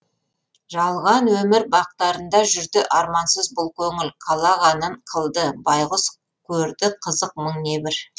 жалған өмір бақтарында жүрді армансыз бұл көңіл қалағанын қылды байғұс көрді қызық мың небір